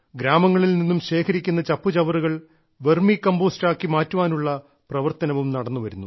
ഗ്രാമങ്ങളിൽ നിന്നും ശേഖരിക്കുന്ന ചപ്പുചവറുകൾ വെർമി കമ്പോസ്റ്റ് ആക്കി മാറ്റുവാനുള്ള പ്രവർത്തനവും നടന്നുവരുന്നു